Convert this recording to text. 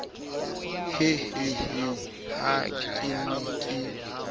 hehehe ha ke ne ke